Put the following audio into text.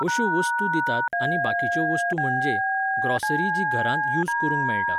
अश्यो वस्तू दितात आनी बाकीच्यो वस्तू म्हणजे, ग्रॉसरी जी घरांत यूज करूंक मेळटा.